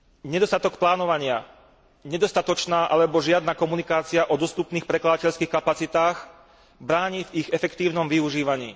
Nedostatok plánovania, nedostatočná alebo žiadna komunikácia o dostupných prekladateľských kapacitách bráni v ich efektívnom využívaní.